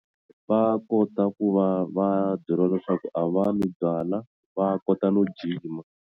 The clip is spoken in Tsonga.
Va kota ku va va byeriwa leswaku a va nwi byala va kota no jima.